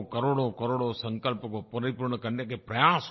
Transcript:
करोड़ोंकरोड़ों संकल्प को परिपूर्ण करने के प्रयास हों